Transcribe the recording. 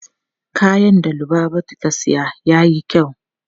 Kayan da Lubabatu ta siya yayi kyau.